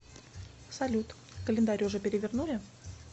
салют календарь уже перевернули